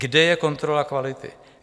Kde je kontrola kvality?